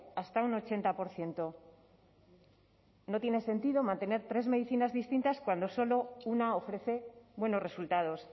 hasta a un ochenta por ciento no tiene sentido mantener tres medicinas distintas cuando solo una ofrece buenos resultados